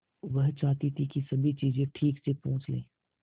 वह चाहती थी कि सभी चीजें ठीक से पूछ ले